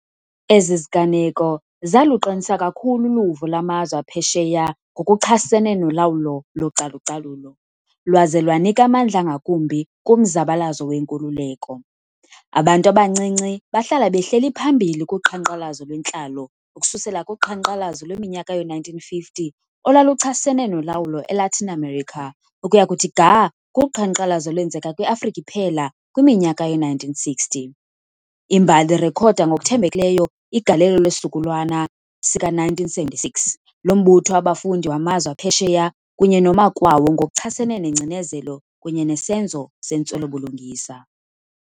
Ezi ziganeko zaluqinisa kakhulu uluvo lwamazwe aphesheya ngokuchasene nolawulo localu-calulo, lwaze lwanika amandla ngakumbi kumzabalazo wenkululeko. Abantu abancinci bahlala behleli phambili kuqhankqalazo lwentlalo, ukususela kuqhankqalazo lweminyaka yoo-1950 olwaluchasene nolawulo e-Latin America, ukuya kuthi ga kuqhankqalazo olwenzeka kwi-Afrika iphela kwiminyaka yoo-1960. Imbali irekhoda ngokuthembekileyo igalelo lesizukulwana sika-1976 lo mbutho wabafundi wamazwe aphesheya kunye noma kwawo ngokuchasene nengcinezelo kunye nesenzo sentswelo-bulungisa.